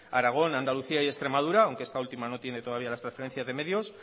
aragón andalucía y extremadura aunque esta última no tiene todavía las transferencias de medios